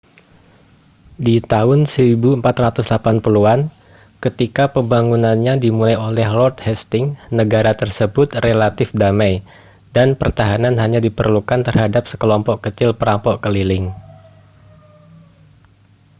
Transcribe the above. di tahun 1480-an ketika pembangunannya dimulai oleh lord hastings negara tersebut relatif damai dan pertahanan hanya diperlukan terhadap sekelompok kecil perampok keliling